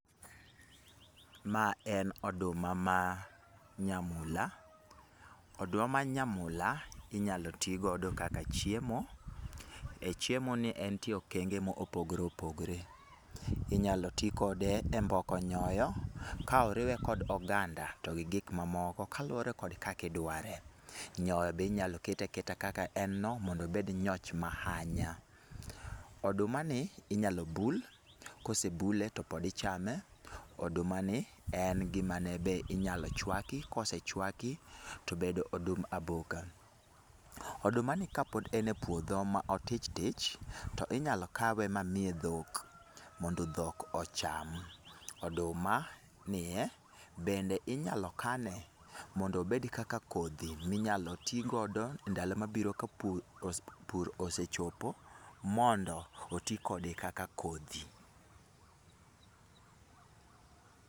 Ma en oduma ma nyamula. Oduma ma nyamula inyalo ti godo kaka chiemo. E chiemo ni entie e okenge mopogore opogore. Inyalo ti kode e mboko nyoyo ka oriwe kod oganda to gi gik mamoko kaluwore kod kaka idware. Nyoyo be inyalo kete aketa kaka en no mondo obed nyoch mahanya. Oduma ni inyalo bul, kose bule to pod ichame. Oduma ni en gima ne be inyalo chuaki, kose chuaki tobedo odum aboka. Oduma ni kapod en e pudho ma otichtich, to inyalo kawe ma miye dhok, mondo dhok ocham. Oduma, nie, bende inyalo kane mondo obed kaka kodhi minyalo tigodo ndalo mabiro ka pur pur osechopo, mondo oti kode kaka kodhi.